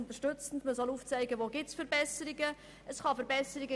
Man soll aufzeigen, wo Verbesserungen möglich sind.